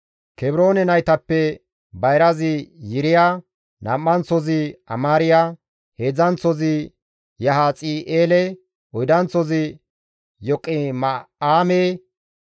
Kebroone naytappe bayrazi Yiriya, nam7anththozi Amaariya, heedzdzanththozi Yahazi7eele, oydanththozi Yoqima7aame.